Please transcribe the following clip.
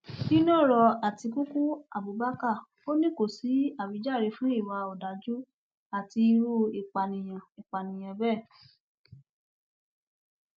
nínú ọrọ àtikukú abubakar ò ní kó sí àwíjàre fún ìwà ọdájú àti irú ìpànìyàn ìpànìyàn bẹẹ